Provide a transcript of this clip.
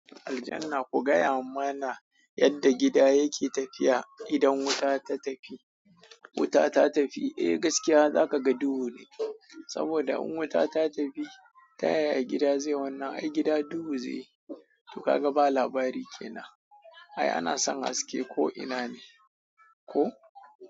Aljan na ku gaya mana yadda gida yake tafiya idan wuta ta tafi. Wuta ta tafi, eh gaskiya zaka ga duhu ne. Saboda in wuta ta tafi, taya gida zai wanna? Ai gida duhu zai yi. To ka ga ba labari kenan. Ai ana san haske ko ina ne. Ko?